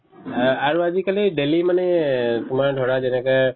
এহ্, আৰু আজিকালি daily মানে এহ্ তোমাৰ ধৰা যেনেকে